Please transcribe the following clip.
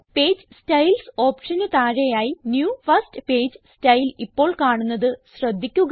page styles ഓപ്ഷന് താഴെയായി new first page style ഇപ്പോൾ കാണുന്നത് ശ്രദ്ധിക്കുക